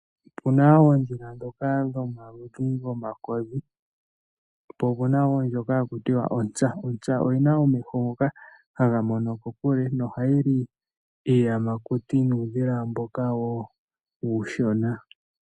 Opu na oondhila ndhoka dhomaludhi gomakodhi, opo o pu na wo ndjoka haku tiwa, onsa. Ontsa oyi na omeho ngoka haga mono kokule, noha yi li iiyamakuti nuudhila mboka wo uushona.